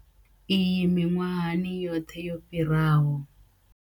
Iyi miṅwahani yoṱhe yo fhiraho.